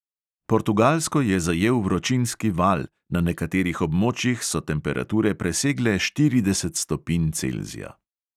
Portugalsko je zajel vročinski val, na nekaterih območjih so temperature presegle štirideset stopinj celzija.